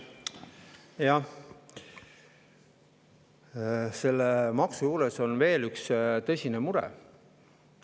Selle maksu puhul on veel üks tõsine mure.